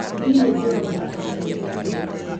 Ndirĩ ndona arutwo ũmũthĩ.